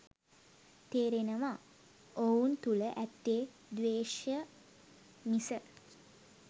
තේරෙනවා ඔවුන් තුල ඇත්තේ ද්වේශය මිස